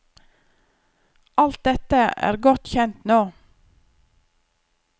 Alt dette er godt kjent nå.